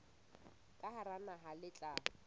ka hara naha le tla